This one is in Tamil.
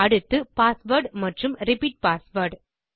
அடுத்து பாஸ்வேர்ட் மற்றும் ரிப்பீட் பாஸ்வேர்ட்